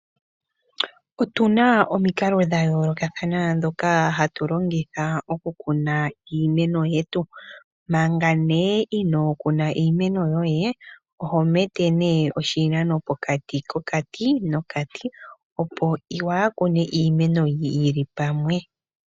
Otuna omikalo dhayoolokathana ndhoka hatu longitha okukuna iimeno yetu. Manga nee inookuna iimeno yoe oho mete nee oshinano pokati kokati nokati opo waakune iimeno yili pamwe.